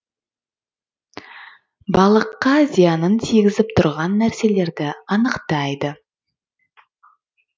балыққа зиянын тигізіп тұрған нәрселерді анықтайды